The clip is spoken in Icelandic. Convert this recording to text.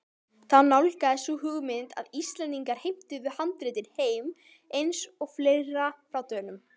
Þá nálgaðist sú hugmynd að Íslendingar heimtuðu handritin heim- eins og fleira frá Dönum.